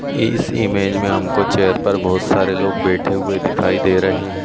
ई इस इमेज में हमको चेयर पर बोहोत सारे लोग बैठे हुए दिखाई दे रहे हैं।